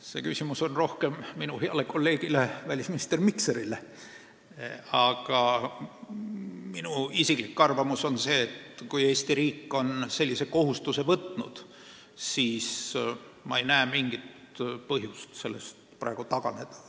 See küsimus on pigem minu heale kolleegile välisminister Mikserile, aga minu isiklik arvamus on, et kui Eesti riik on sellise kohustuse võtnud, siis ma ei näe mingit põhjust sellest praegu taganeda.